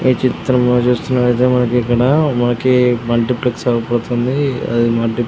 ఈ చిత్రంలో చూస్తున్నటైతే మనకు ఇక్కడ మనకి మల్టీప్లెక్స్ అయిపోబోత్తుంది హ